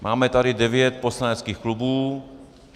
Máme tady devět poslaneckých klubů.